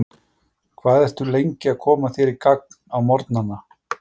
Hvað ertu lengi að koma þér í gagn á morgnana?